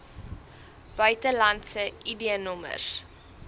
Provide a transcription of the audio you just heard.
buitelandse id nommers